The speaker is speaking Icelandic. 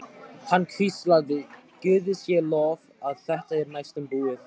Hann hvíslaði: Guði sé lof að þetta er næstum búið.